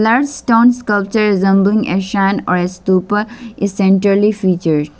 stone sculpture resembling a shrine or a stupa is centerly featured.